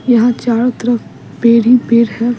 यहां चारों तरफ पीर ही पीर है।